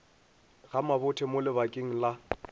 ga mabothe mo lebakeng la